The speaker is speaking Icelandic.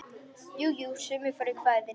Jú, sumir fóru í kvæðin.